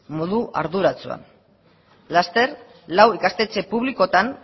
modu arduratsua laster lau ikastetxe publikoetan